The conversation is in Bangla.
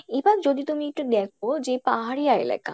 এবার যদি তুমি একটু দেখো যে পাহাড়িয়া এলাকা